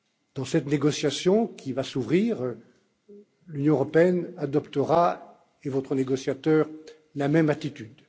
Dans cette négociation qui va s'ouvrir, l'Union adoptera, tout comme votre négociateur, la même attitude.